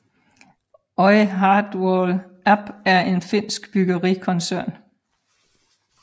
Oy Hartwall Ab er en finsk bryggerikoncern